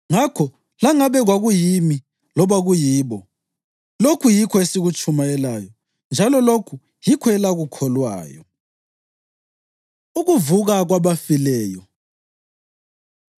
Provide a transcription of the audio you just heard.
Ngakho langabe kwakuyimi loba kuyibo, lokhu yikho esikutshumayelayo njalo lokhu yikho elakukholwayo. Ukuvuka Kwabafileyo